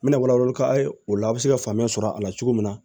N bɛna wala wala k'a ye o la a bɛ se ka faamuya sɔrɔ a la cogo min na